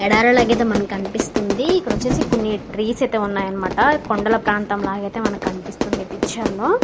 ఎడారి లాగా అయితే మనకి కనిపిస్తుంది ఇది వచ్చేసి కొన్ని ట్రీస్ అయితే ఉన్నాయి అనమాట కొండల ప్రాంతం లాగా అయితే కనిపిస్తుంది మనకి ఈ పిక్చర్ లో--